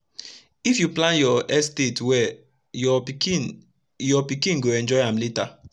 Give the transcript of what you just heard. if u plan ur estate wel ur pikin ur pikin go enjoy am lata